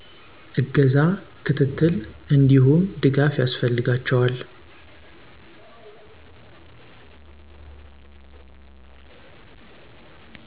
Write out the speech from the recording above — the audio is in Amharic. እገዛ፣ ክትትል እንዲሁም ድጋፍ ያስፈልጋቸዋል